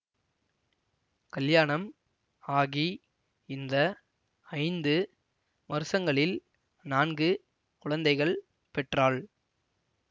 கல்யாணம் ஆகி இந்த ஐந்து வருஷங்களில் நான்கு குழந்தைகள் பெற்றாள்